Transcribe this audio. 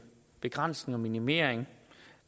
begrænsning og minimering